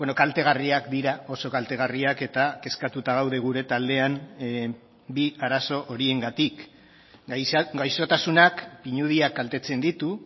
kaltegarriak dira oso kaltegarriak eta kezkatuta gaude gure taldean bi arazo horiengatik gaixotasunak pinudiak kaltetzen ditu